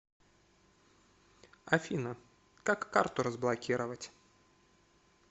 афина как карту разблокировать